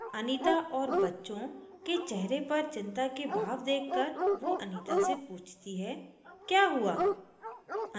anita और उसके बच्चों के चेहरों पर चिंता के भाव देखकर वो anita से पूछती है क्या हुआ